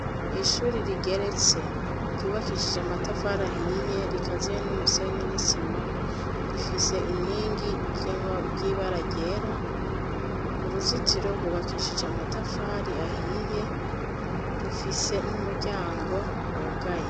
Ishuri rigeretse ryubakishije amatafari ahiye rikaziye n'umusenyi n'isima rifise inkingi ry'ibara ryera, uruzitiro rwubakishije amatafari ahiye rufise n'umuryango wugaye.